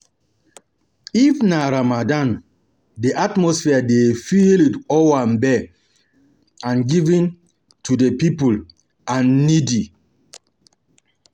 If na Ramadan, di atmosphere dey filled with owambe um and giving to di poor and needy um